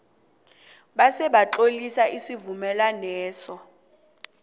bese batlolisa isivumelwaneso